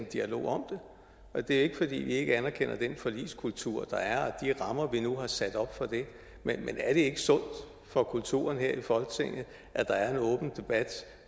dialog om det det er ikke fordi vi ikke anerkender den forligskultur der er og de rammer vi nu har sat op for det men er det ikke sundt for kulturen her i folketinget at der er en åben debat